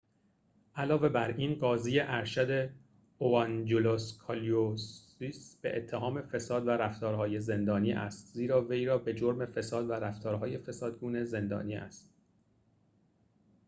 علاوه بر این قاضی ارشد اوانجلوس کالوسیس به اتهام فساد و رفتار‌های زندانی است زیرا وی را به جرم فساد و رفتارهای فسادگونه زندانی است